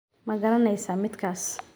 Ma garanaysaa midkaas?